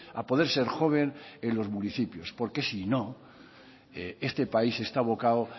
a poder ser joven en los municipios porque si no este país está abocado